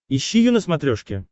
ищи ю на смотрешке